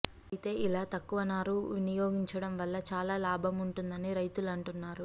అయితే ఇలా తక్కువ నారు వినియోగించడం వల్ల చాలా లాభం ఉంటుందని రైతులు అంటున్నారు